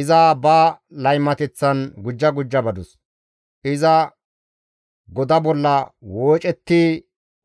«Iza ba laymateththan gujja gujja badus; iza goda bolla woocetti